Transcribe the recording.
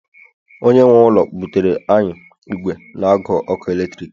onye nwe ụlọ butere anyị igwe n agu ọkụ eletrik